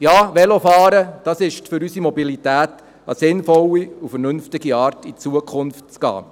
Ja, Velofahren ist für unsere Mobilität eine sinnvolle und vernünftige Art in die Zukunft zu gehen.